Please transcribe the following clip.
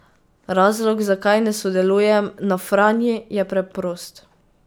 Razlog, zakaj ne sodelujem na Franji, je preprost.